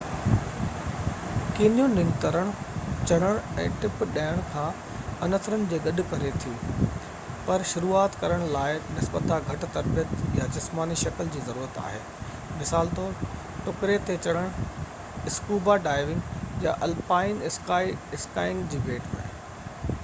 canyoning ترڻ، چڙهڻ ۽ ٽپ ڏيڻ کان عنصرن کي گڏ ڪري ٿي--پر شروعات ڪرڻ لاءِ نسبتاً گهٽ تربيت يا جسماني شڪل جي ضرورت آهي مثال طور ٽڪري تي چڙهڻ، اسڪوبا ڊائيونگ يا الپائن اسڪائينگ جي ڀيٽ ۾